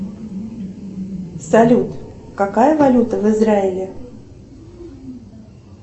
салют какая валюта в израиле